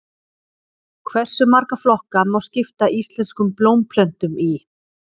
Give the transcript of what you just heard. Hversu marga flokka má skipta íslenskum blómplöntum í?